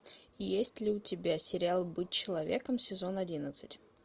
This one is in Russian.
есть ли у тебя сериал быть человеком сезон одиннадцать